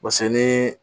ni